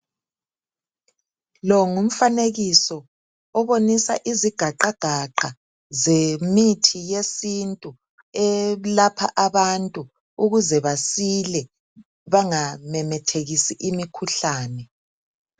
Lo ngumfanekiso obonisa izigaqagaqa zemithi yesintu elapha abantu ukuze basile bangamemethekisi imikhuhlani.